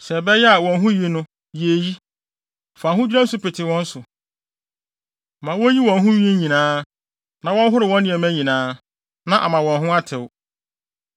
Sɛ ɛbɛyɛ a wɔn ho ni yɛ eyi: Fa ahodwira nsu pete wɔn so. Ma wonyi wɔn ho nwi nyinaa, na wɔnhoro wɔn nneɛma nyinaa, na ama wɔn ho atew.